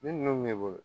Ni ninnu b'i bolo